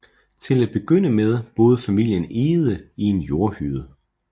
Til at begynde med boede familien Egede i en jordhytte